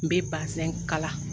N be bazɛn kala.